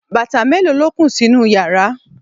bàtà mélòó lo kó sínú yàrá?